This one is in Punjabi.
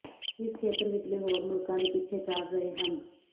ਇਸ ਖੇਤਰ ਵਿਚਲੇ ਹੋਰ ਮੁਲਕਾਂ ਦੇ ਪਿੱਛੇ ਚੱਲ ਰਹੇ ਹਨ